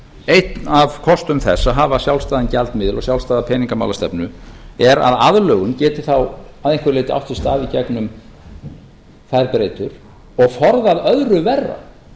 einn af kostum þess að hafa sjálfstæðan gjaldmiðil og sjálfstæða peningamálastefnu er að aðlögun geti þá að einhverju leyti átt sér stað í gegnum þærrrbeytuir og forðað öðru verra